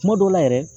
Kuma dɔw la yɛrɛ